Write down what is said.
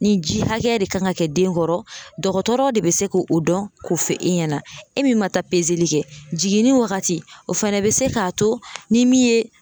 Ni ji hakɛ de kan ka kɛ den kɔrɔ, dɔgɔtɔrɔ de bɛ se k'o dɔn k'o fɔ e ɲɛna, e min ma taa kɛ jiginni wagati, o fana bɛ se k'a to ni min ye